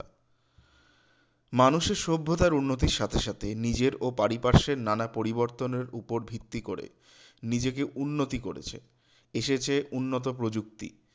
মানুষের সভ্যতার উন্নতির সাথে সাথে নিজের ও পারিপার্শের নানা পরিবর্তনের উপর ভিত্তি করে নিজেকে উন্নতি করেছে এসেছে উন্নত প্ৰযুক্তি